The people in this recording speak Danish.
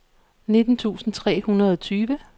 nitten tusind tre hundrede og tyve